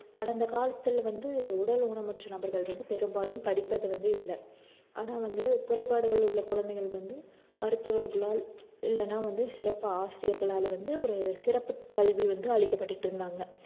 கடந்த காலத்துல வந்து உடல் ஊனமுற்ற நபர்கள் வந்து பெரும்பாலும் படிப்பது வந்து இல்ல ஆனா வந்து குறைபாடுகள் உள்ள குழந்தைகள் வந்து மருத்துவர்களால் இல்லைன்னா வந்து சிறப்பு ஆசிரியர்களால வந்து ஒரு சிறப்பு கல்வி வந்து அளிக்கப்பட்டிட்டிருந்தாங்க